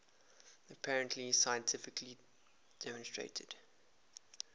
apparently scientifically demonstrated